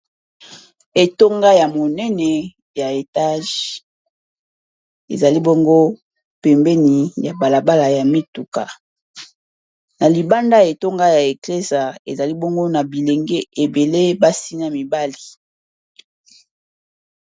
Etonga ya monene ya etage ezali bongo pembeni ya balabala ya mituka na libanda etonga ya eclese ezali bongo na bilenge ebele basi na mibali.